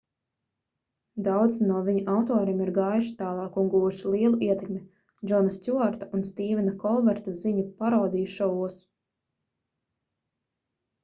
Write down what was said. daudzi no viņu autoriem ir gājuši tālāk un guvuši lielu ietekmi džona stjuarta un stīvena kolberta ziņu parodiju šovos